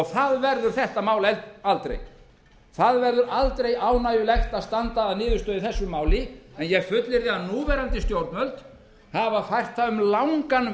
það verður þetta mál aldrei það verður aldrei ánægjulegt að standa að niðurstöðu í þessu máli en ég fullyrði að núverandi stjórnvöld hafa fært það um langan